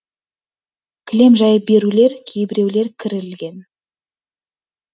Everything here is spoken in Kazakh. кілем жайып берулер кейбіреулер кір ілген